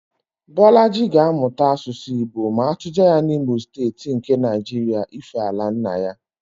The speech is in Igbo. Bọlaji ga-amụta Asụsụ Igbo ma atụje ya n'Imo Steeti nke Naịjiria ífé ala nna ya